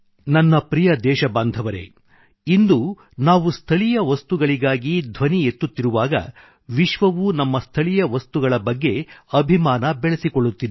ನನ್ನ ಪ್ರಿಯ ದೇಶಬಾಂಧವರೆ ಇಂದು ನಾವು ಸ್ಥಳೀಯ ವಸ್ತುಗಳಿಗಾಗಿ ಧ್ವನಿ ಎತ್ತುತ್ತಿರುವಾಗ ವಿಶ್ವವೂ ನಮ್ಮ ಸ್ಥಳೀಯ ವಸ್ತುಗಳಿಗೆ ಅಭಿಮಾನ ಬೆಳೆಸಿಕೊಳ್ಳುತ್ತಿದೆ